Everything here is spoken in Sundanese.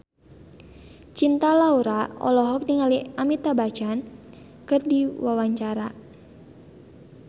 Cinta Laura olohok ningali Amitabh Bachchan keur diwawancara